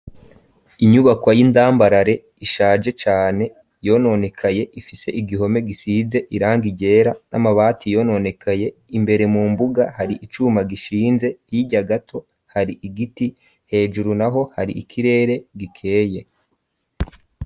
Inyubakwa y'indambarare, ishaje cane yononekaye, ifise igihome gisize irangi ryera, n'amabati yononekaye, imbere mu mbuga hari icuma gishinze, hirya gato hari igiti, hejuru naho hari ikirere gikeye.